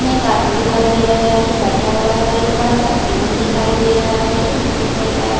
में एक आदमी दिखाई दे रहा है जो बैठा हुआ है और एक बड़ा सा टेबल दिखाई दे रहा है जो मिट्टी कलर का है।